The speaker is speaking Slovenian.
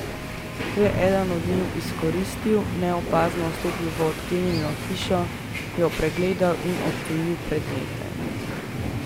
To je eden od njiju izkoristil, neopazno vstopil v odklenjeno hišo, jo pregledal in odtujil predmete.